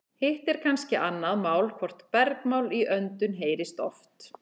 Hitt er kannski annað mál hvort bergmál í öndum heyrist oft.